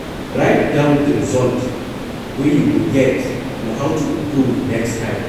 Write down di result wey you get and how to improve next time